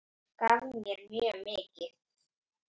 Gaf mér mjög mikið.